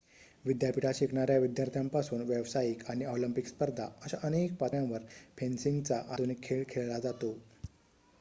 विद्यापीठात शिकणाऱ्या विद्यार्थ्यांपासून व्यावसायिक आणि ऑलिम्पिक स्पर्धा अशा अनेक पातळ्यांवर फेन्सिंगचा आधुनिक खेळ खेळला जातो